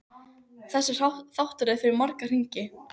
Þessi þáttaröð fer í marga hringi.